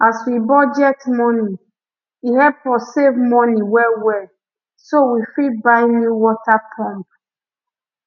as we budget money e help us save money well well so we fit buy new water pump